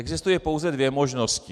Existují pouze dvě možnosti.